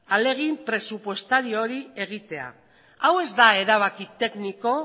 ahalegin presupuestario hori egitea hau ez da erabaki tekniko